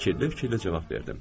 Fikirli-fikirli cavab verdim.